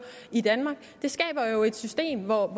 i danmark det skaber jo et system hvor